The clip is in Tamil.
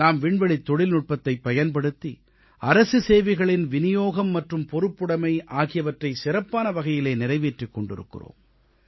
நாம் விண்வெளித் தொழில்நுட்பத்தைப் பயன்படுத்தி அரசு சேவை வழங்குதல் மற்றும் பொறுப்புடைமை ஆகியவற்றை சிறப்பான வகையிலே நிறைவேற்றிக் கொண்டிருக்கிறோம்